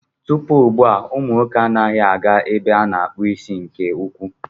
Tupu ugbua, umụ nwoke anaghị aga ebe a na-akpụ isi nke ukwuu.